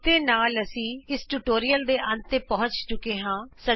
ਇਸ ਦੇ ਨਾਲ ਅਸੀਂ ਇਸ ਟਿਯੂਟੋਰਿਅਲ ਦੇ ਅੰਤ ਤੇ ਪਹੁੰਚ ਚੁਕੇ ਹਾਂ